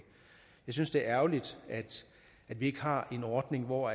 jeg synes det er ærgerligt at vi ikke har en ordning hvor